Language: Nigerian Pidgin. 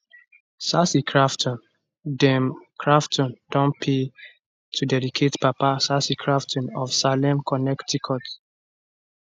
casey crafton dem crafton dem don pay to dedicated papa casey crafton of salem connecticut